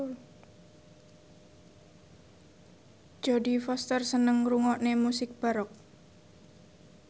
Jodie Foster seneng ngrungokne musik baroque